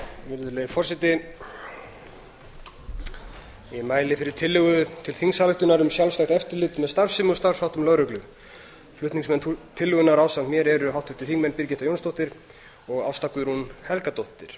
virðulegi forseti ég mæli fyrir tillögu til þingsályktunar um sjálfstætt eftirlit með starfsemi og starfsháttum lögreglu flutningsmenn tillögunnar ásamt mér eru háttvirtir þingmenn birgitta jónsdóttir og ásta guðrún helgadóttir